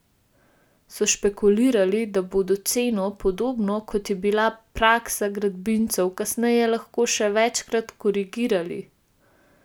So špekulirali, da bodo ceno, podobno, kot je bila praksa gradbincev, kasneje lahko še večkrat korigirali?